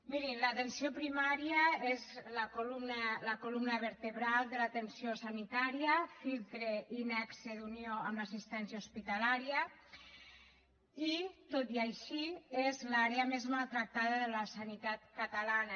mirin l’atenció primària és la columna vertebral de l’atenció sanitària filtre i nexe d’unió amb l’assistència hospitalària i tot i així és l’àrea més maltractada de la sanitat catalana